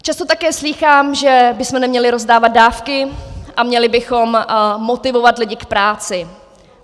Často také slýchám, že bychom neměli rozdávat dávky a měli bychom motivovat lidi k práci.